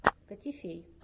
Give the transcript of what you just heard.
котифей